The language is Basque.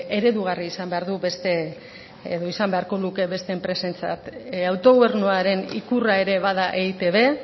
eredugarria izan beharko luke beste enpresentzat autogobernuaren ikurra ere bada etb